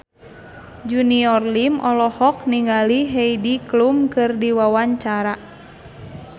Junior Liem olohok ningali Heidi Klum keur diwawancara